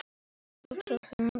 Hún fór að mála aftur.